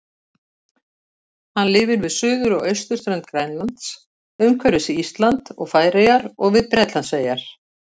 Hann lifir við suður- og austurströnd Grænlands, umhverfis Ísland og Færeyjar og við Bretlandseyjar.